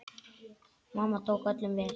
Mamma tók öllum vel.